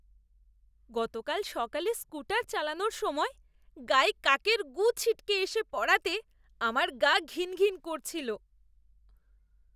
গতকাল সকালে স্কুটার চালানোর সময় গায়ে কাকের গু ছিটকে এসে পড়াতে আমার গা ঘিনঘিন করছিল!